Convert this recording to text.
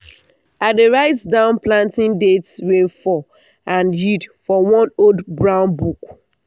i dey write down planting date rainfall and yield for one old brown book.